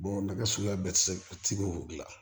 nɛgɛso bɛɛ tɛ se k'o dilan